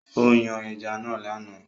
Ó yan ẹja náà lánàá